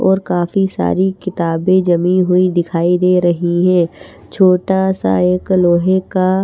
और काफी सारी किताबे जमी हुई दिखाई दे रही हैं छोटा सा एक लोहे का--